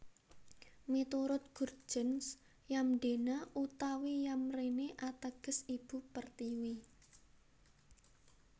Miturut Gurtjens Yamdena utawi Yamrene ateges Ibu Pertiwi